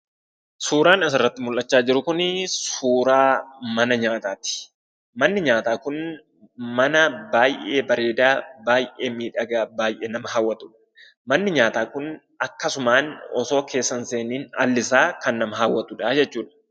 Suuraan asirratti mul'achaa jiru kunii suuraa mana nyaataati, manni nyaataa kun mana baayyee bareedaa, baayyee miidhagaa, baayyee nama hawwatudha. manni nyaataa kun akkasumaan otoo keessa hin seeniin allisaa kan nama hawwatudhaa jechuudha.